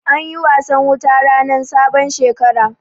Anyi wasan wuta rannan sabon Shekara.